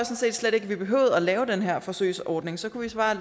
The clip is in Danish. set slet ikke vi behøvede at lave den her forsøgsordning så kunne